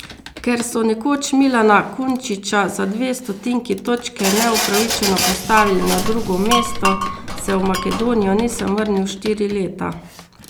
Ker so nekoč Milana Kunčiča za dve stotinki točke neupravičeno postavili na drugo mesto, se v Makedonijo nisem vrnil štiri leta.